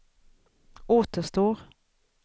återstår